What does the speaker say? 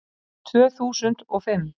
Tvö þúsund og fimm